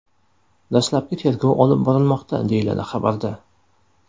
Dastlabki tergov olib borilmoqda, deyiladi xabarda.